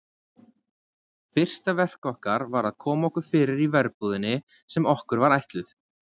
Fyrsta verk okkar var að koma okkur fyrir í verbúðinni sem okkur var ætluð.